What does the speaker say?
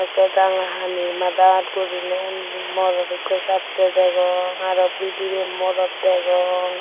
tey ranga hani madat guriney undi morot ikko jattey degong aro bidirey morot degong.